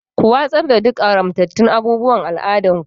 Ku watsar da duk haramtattun abubuwan al'adunku.